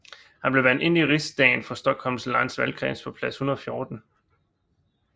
Han blev valgt ind i riksdagen for Stockholms läns valgkreds på plads 114